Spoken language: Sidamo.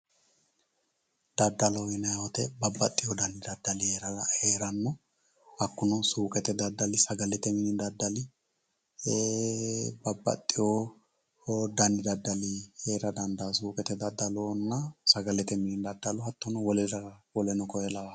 daddaloho yinayiiwote babbaxxiyo danidaddali heeranno hakkuno suuuqete daddali sagalete mini daddali babbaxiyo dani daddali heera dandayo suuqetenna daddalonna hattono sagalete mini daddalo woleno kuri lawannoho.